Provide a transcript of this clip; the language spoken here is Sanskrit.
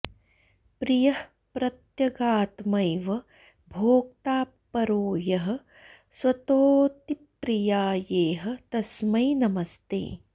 प्रियः प्रत्यगात्मैव भोक्ता परो यः स्वतोऽतिप्रियायेह तस्मै नमस्ते